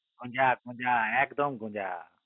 গোজা গোজা একদম গোজা